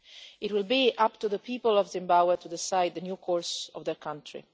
It will be up to the people of Zimbabwe to decide the new course of the country.